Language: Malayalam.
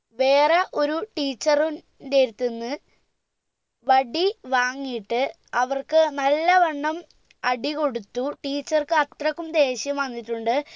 വേറെ ഒരു teacher ഉ ഇന്റേട്ത്തിന്ന് വടി വാങ്ങിയിട്ട് അവർക്ക് നല്ലവണ്ണം അടികൊടുത്തു teacher ക്ക് അത്രക്കും ദേഷ്യം വന്നിട്ടുണ്ട്